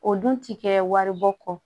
O dun ti kɛ waribɔ kɔ